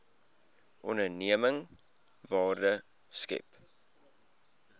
onderneming waarde skep